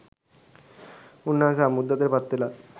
උන්වන්සේ සම්බුද්ධත්වයට පත්වෙලා